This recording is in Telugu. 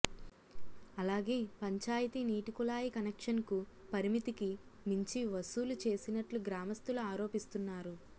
అలాగే పంచాయతీ నీటికుళాయి కనెక్షన్కు పరిమితికి మించి వసూలు చేసినట్లు గ్రామస్తులు ఆరోపిస్తున్నారు